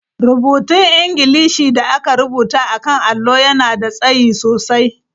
Rubutun Ingilishi da aka rubuta a kan allo yana da tsayi sosai.